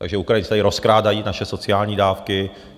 Takže Ukrajinci tady rozkrádají naše sociální dávky.